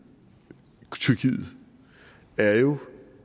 tyrkiet er jo